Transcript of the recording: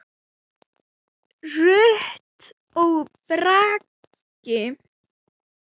Rut og Bragi.